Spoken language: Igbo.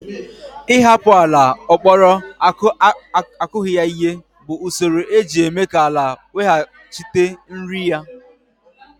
Ịhapụ ala ọ kpọrọ akughi ya ihe bụ usoro eji eme ka ala weghachite nri ya